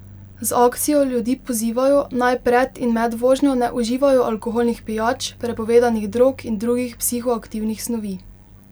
Z akcijo ljudi pozivajo, naj pred in med vožnjo ne uživajo alkoholnih pijač, prepovedanih drog in drugih psihoaktivnih snovi.